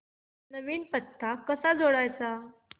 नवीन पत्ता कसा जोडायचा